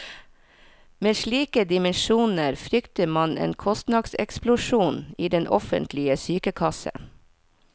Med slike dimensjoner frykter man en kostnadseksplosjon i den offentlige sykekassen.